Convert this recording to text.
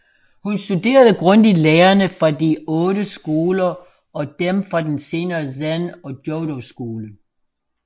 Han studerede grundigt lærerne fra de otte skoler og dem fra den senere Zen og Jodo Skole